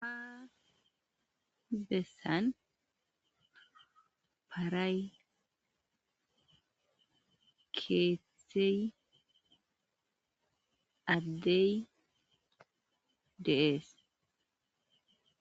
bessan paray keethey addey deees